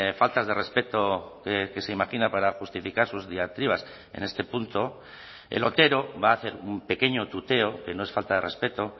faltas de respeto que se imagina para justificar sus diatribas en este punto el otero va a hacer un pequeño tuteo que no es falta de respeto